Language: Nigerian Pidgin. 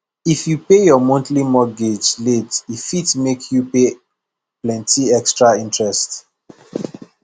if you pay your monthly mortgage late e fit make you pay plenty extra interest